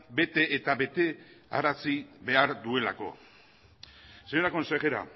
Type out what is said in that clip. bete eta bete arazi behar duelako señora consejera